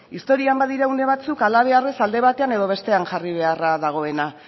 historian badira une batzuk halabeharrez alde batean edo bestean jarri beharra dagoena